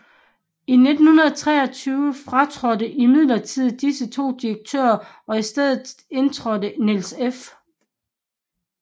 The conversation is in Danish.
I 1923 fratrådte imidlertid disse 2 direktører og i stedet indtrådte Niels F